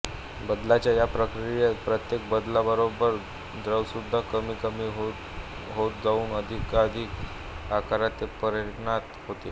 बदलाच्या या प्रक्रियेत प्रत्येक बदलाबरोबर द्रव्यसुद्धा कमी कमी होत जाऊन अधिकाधिक आकारात ते परिणत होते